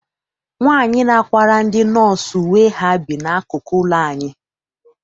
Nwaanyi na-akwara ndị nọọsụ uwe ha bi n'akụkụ ụlọ anyị.